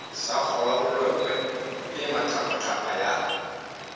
sa kgolabolokwe e maqaphaqapha ya